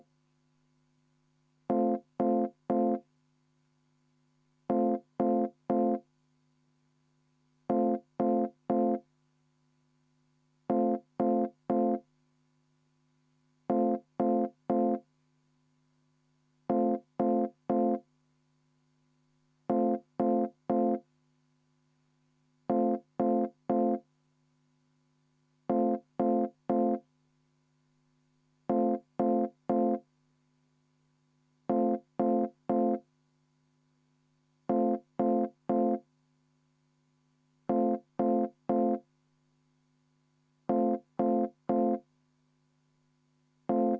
V a h e a e g